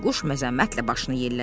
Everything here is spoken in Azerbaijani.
Bayquş məzəmmətlə başını yellədi.